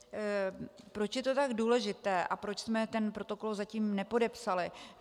Proč je to tak důležité a proč jsme ten protokol zatím nepodepsali.